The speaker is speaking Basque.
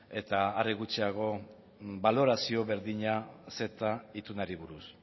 eta are gutxiago balorazio berdina ceta itunari buruz